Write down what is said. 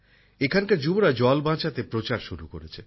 এখানকার যুবকযুবতীরা জল বাঁচাতে প্রচার শুরু করেছে